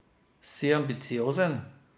Si ambiciozen.